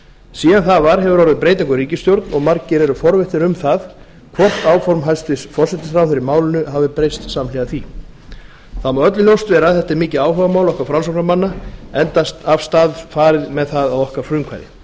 síðan það var hefur orðið breyting á ríkisstjórn og margir eru forvitnir um það hvort áform hæstvirtur forsætisráðherra í málinu hafi breyst samhliða því það má öllum vera ljóst að þetta er mikið áhugamál okkar framsóknarmanna enda af stað farið með það að okkar frumkvæði